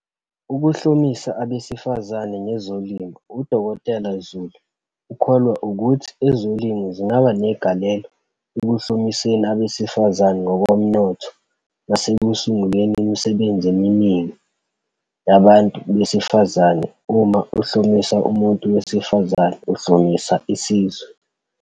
Ukuhlomisa abesifazane ngezolimo. U-Dkt Zulu ukholwa ukuthi ezolimo zingaba negalelo ekuhlomiseni abesifazane ngokomnotho nasekusunguleni imisebenzi eminingi yabantu besifazane. "Uma uhlomisa umuntu wesifazane, uhlomisa isizwe."